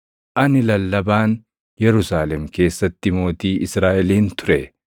Ani Lallabaan, Yerusaalem keessatti mootii Israaʼelin ture.